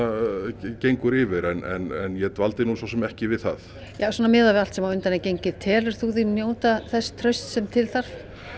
gengur yfir en ég dvaldi nú svo sem ekki við það svona miðað við allt sem á undan er gengið telur þú þig njóta þess trausts sem til þarf